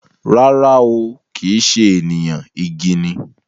Rara ooo, kìí ṣe ènìyàn, igi ni